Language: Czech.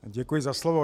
Děkuji za slovo.